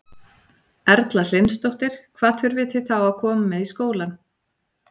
Erla Hlynsdóttir: Hvað þurfið þið þá að koma með í skólann?